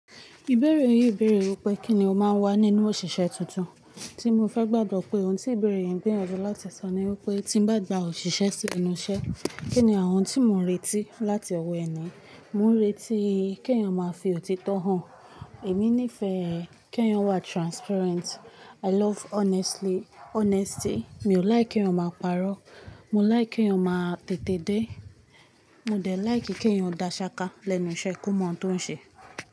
Ìbéèrè yìí bèèrè wípé kín ni ó máa ń wà nínú òṣìṣẹ́ tuntun. Tí mo fẹ́ gbàdọ̀ pé ohun tí ìbéèrè yẹn ń gbìyànjú láti sọ ni wípé tí ń bá gba òṣìṣẹ́ sí enú iṣẹ́, kín ni àwọn ohun tí mo ń retí láti ọwọ́ ẹni? Mò ń retí kí èèyàn máa fi òtítọ́ hàn. Èmi nífẹ̀ẹ́ kí èèyàn wà transparent. I love honestly. Mi ò láì kí èèyàn máa parọ́. Mo láì kí èèyàn máa tètè dé. Mo dẹ̀ láì kí èèyàn dá ṣaka lẹ́nu iṣẹ́ kó mọ̀ ohun tó ń ṣe.